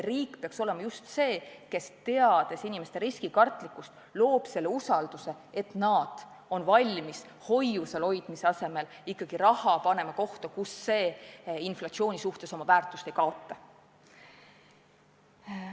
Riik peaks olema see, kes teades inimeste riskikartlikkust, loob usalduse, nii et nad on valmis pangakontol hoidmise asemel panema raha kohta, kus see inflatsiooni tõttu oma väärtust ei kaota.